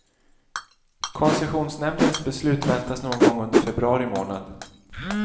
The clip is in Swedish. Koncessionsnämndens beslut väntas någon gång under februari månad.